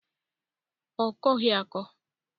Ọ kọghi akọ.